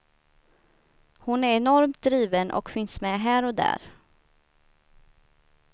Hon är enormt driven och finns med här och där.